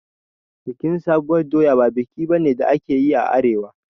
Bikin sabuwar doya ba biki bane da ake a arewa